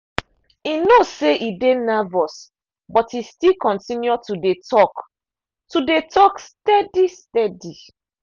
e know say e dey nervous but e still continue to dey talk to dey talk steady steady.